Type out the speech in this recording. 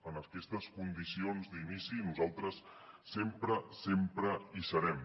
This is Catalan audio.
en aquestes condicions d’inici nosaltres sempre sempre hi serem